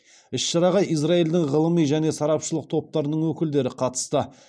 іс шараға израильдің ғылыми және сарапшылық топтарының өкілдері қатысты